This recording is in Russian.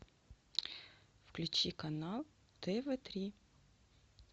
включи канал тв три